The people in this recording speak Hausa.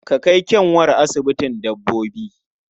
Ka kai ƙyanwarka asibitin dabbobi!